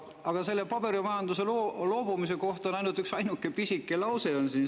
" Aga paberimajandusest loobumise kohta on ainult üksainuke pisike lause.